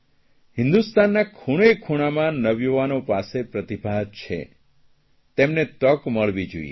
હિંદુસ્તાનના ખૂણેખૂણામાં નવયુવાનો પાસે પ્રતિભા છે ચેમને તક મળવી જોઇએ